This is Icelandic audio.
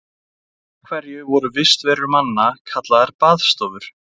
af hverju voru vistarverur manna kallaðar baðstofur